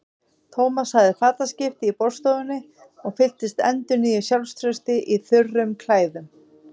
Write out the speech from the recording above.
Thomas hafði fataskipti í borðstofunni og fylltist endurnýjuðu sjálfstrausti í þurrum klæðunum.